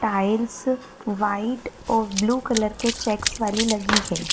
Tiles white और blue colour के checks वाली लगी है।